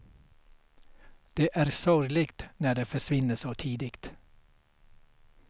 Det är sorgligt när de försvinner så tidigt.